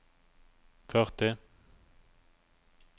førti